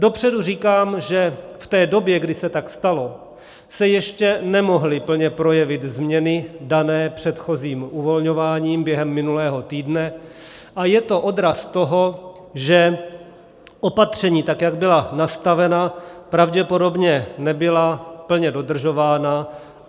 Dopředu říkám, že v té době, kdy se tak stalo, se ještě nemohly plně projevit změny dané předchozím uvolňováním během minulého týdne, a je to odraz toho, že opatření, tak jak byla nastavena, pravděpodobně nebyla plně dodržována.